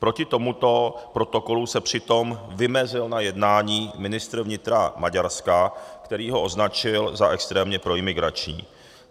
Proti tomuto protokolu se přitom vymezil na jednání ministr vnitra Maďarska, který ho označil za extrémně proimigrační.